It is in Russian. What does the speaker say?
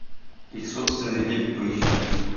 их собственная лига поищи